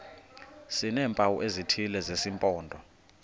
sineempawu ezithile zesimpondo